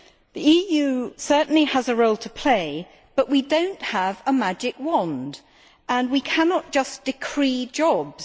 The EU certainly has a role to play, but we do not have a magic wand and we cannot just decree jobs.